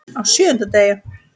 Á SJÖUNDA DEGI